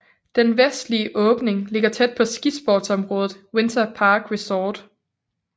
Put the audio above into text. Den vestlige åbning ligger tæt på skisportsområdet Winter Park Resort